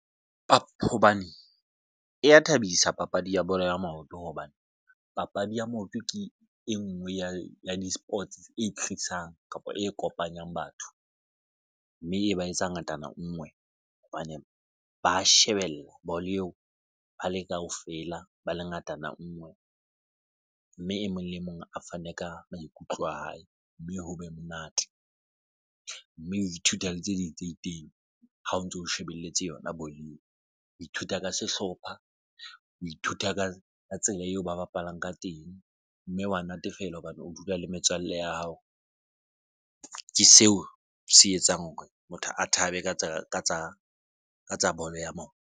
Bapho hobane e ya thabisa papadi ya bolo ya maoto, hobane papadi ya maoto ke e nngwe ya di-sports e tlisang kapa e kopanyang batho mme e ba etsa ngatana ngwe hobane ba shebella bolo eo ba le kaofela, ba le ngatana ngwe mme e mong le mong a fane ka maikutlo a hae mme ho be monate mme o ithuta le tse ding tse itseng ha o ntso o shebelletse yona bolo eo. O ithuta ka sehlopha o ithuta ka tsela eo ba bapalang ka teng mme wa natefelwa hobane o dula le metswalle ya hao. Ke seo se etsang hore motho a thabe ka tsa ka tsa ka tsa bolo ya maoto.